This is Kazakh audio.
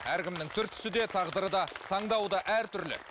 әркімнің түр түсі де тағдыры да таңдауы да әртүрлі